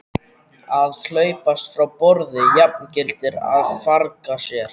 Að hlaupast frá borði jafngildir að farga sér.